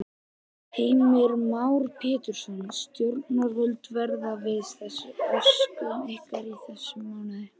Heimir Már Pétursson: Stjórnvöld verði við þessum óskum ykkar í þessum mánuði?